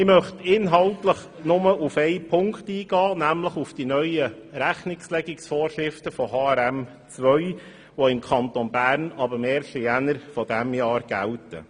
Ich möchte inhaltlich nur auf einen Punkt eingehen, nämlich auf die neuen Rechnungslegungsvorschriften von HRM2, welche im Kanton Bern ab 1. Januar dieses Jahres gelten.